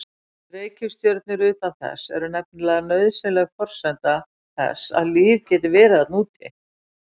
Reikistjörnur utan þess eru nefnilega nauðsynleg forsenda þess að líf geti verið þarna úti.